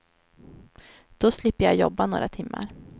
Då slipper jag jobba några timmar.